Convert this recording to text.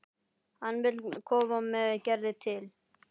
Hann vill koma með Gerði til